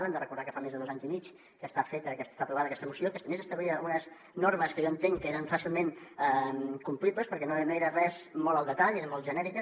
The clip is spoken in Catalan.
hem de recordar que fa més de dos anys i mig que està feta que està aprovada aquesta moció que a més establia unes normes que jo entenc que eren fàcilment complibles perquè no era res molt al detall eren molt genèriques